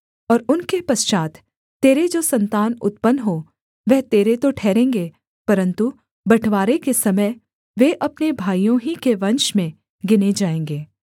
और उनके पश्चात् तेरे जो सन्तान उत्पन्न हो वह तेरे तो ठहरेंगे परन्तु बँटवारे के समय वे अपने भाइयों ही के वंश में गिने जाएँगे